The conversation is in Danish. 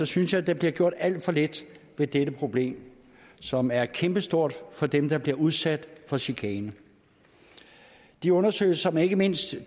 synes jeg at der bliver gjort alt for lidt ved dette problem som er kæmpestort for dem der bliver udsat for chikanen de undersøgelser som ikke mindst